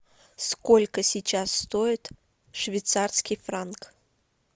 сколько сейчас стоит швейцарский франк